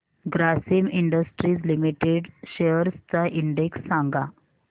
Grasim industries limited shares चा index सांगा